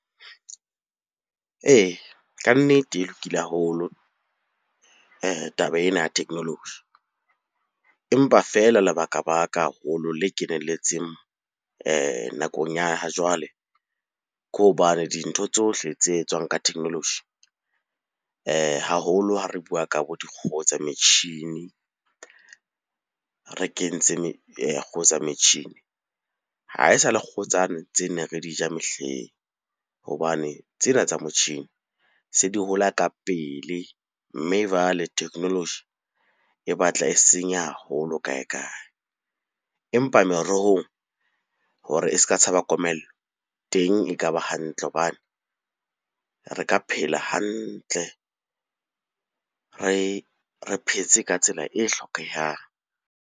Ee, kannete e lokile haholo taba ena ya technology. Empa feela lebaka-baka haholo le kenelletseng nakong ya ha jwale, ke hobane dintho tsohle tse tswang ka technology haholo ha re bua ka bo dikgoho tsa metjhini. Re kentse kgoho tsa metjhini, ha e sa le kgoho tsane tse ne re di ja mehleng hobane tsena tsa motjhini se di hola ka pele. Mme jwale technology e batla e senya haholo kae-kae, empa merohong hore e ska tshaba komello. Teng e ka ba hantle hobane re ka phela hantle, re phetse ka tsela e hlokehang.